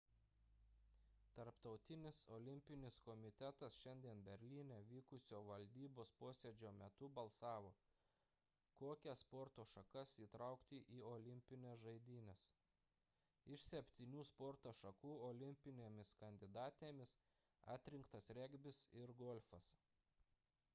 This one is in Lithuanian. tarptautinis olimpinis komitetas šiandien berlyne vykusio valdybos posėdžio metu balsavo kokias sporto šakas įtraukti į olimpines žaidynes iš septynių sporto šakų olimpinėmis kandidatėmis atrinktas regbis ir golfas